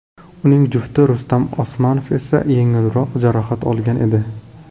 Uning jufti Rustam Osmanov esa yengilroq jarohat olgan edi.